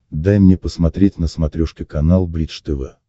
дай мне посмотреть на смотрешке канал бридж тв